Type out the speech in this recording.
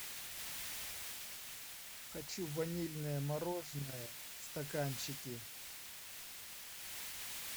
хочу ванильное мороженое в стаканчике